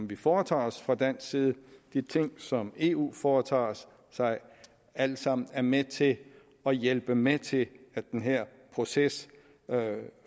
vi foretager os fra dansk side og de ting som eu foretager sig alle sammen er med til at hjælpe med til at den her proces